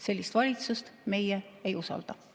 Sellist valitsust meie ei usalda.